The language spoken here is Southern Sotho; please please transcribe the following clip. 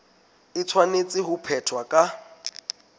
e tshwanetse ho phethwa ka